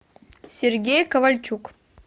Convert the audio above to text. сергей ковальчук